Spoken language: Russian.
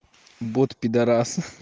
бот пидарас